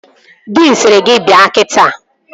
Diin sịrị gị bịa kita!